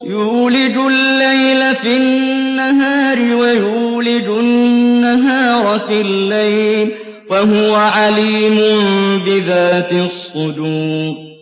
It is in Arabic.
يُولِجُ اللَّيْلَ فِي النَّهَارِ وَيُولِجُ النَّهَارَ فِي اللَّيْلِ ۚ وَهُوَ عَلِيمٌ بِذَاتِ الصُّدُورِ